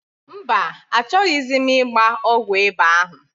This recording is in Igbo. Mba, achọghịzi m ịgba ọgwụ ịba ahụ.